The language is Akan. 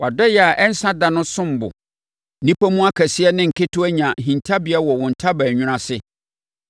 Wʼadɔeɛ a ɛnsa da no som bo! Nnipa mu akɛseɛ ne nketewa nya hintabea wɔ wo ntaban nwunu ase.